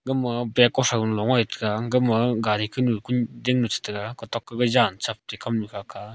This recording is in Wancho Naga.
gama bag koshon la lo gan taga gama gari kunu kuding che taiga kutok toh jan chep te kamnu kha kah a.